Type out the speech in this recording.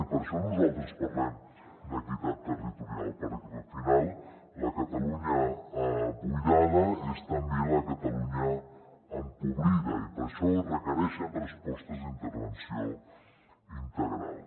i per això nosaltres parlem d’equitat territorial perquè al final la catalunya buidada és també la catalunya empobrida i per això es requereixen respostes d’intervenció integral